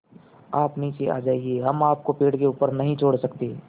आप नीचे आ जाइये हम आपको पेड़ के ऊपर नहीं छोड़ सकते